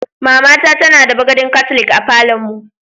Mama ta tana da bagadin katlik a falon mu.